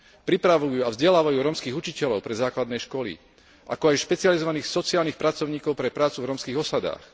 Pripravujú a vzdelávajú rómskych učiteľov pre základné školy, ako aj špecializovaných sociálnych pracovníkov pre prácu v rómskych osadách.